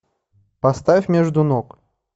поставь между ног